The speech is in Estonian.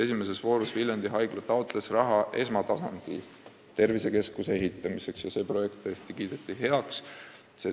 Esimeses voorus Viljandi Haigla taotles raha esmatasandi tervisekeskuse ehitamiseks ja see projekt kiideti heaks.